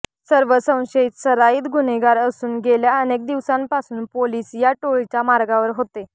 सर्व संशयित सराईत गुन्हेगार असून गेल्या अनेक दिवसांपासून पोलीस या टोळीच्या मागावर होते